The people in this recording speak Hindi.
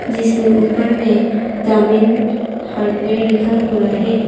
जिसमें ऊपर में दामिंग हार्डवेयर लिखा हुआ है।